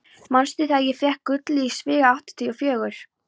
Manstu þegar ég fékk gullið í svigi áttatíu og fjögur?